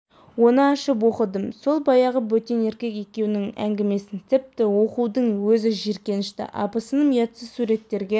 оныашып оқыдым сол баяғы бөтен еркек екеуінің ңгімесін тіпті оқудың өзі жиіркенішті абысыным ұятсыз суреттерге